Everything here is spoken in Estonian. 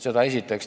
Seda esiteks.